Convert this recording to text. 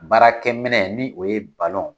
Baarakɛ minɛ ni o ye balon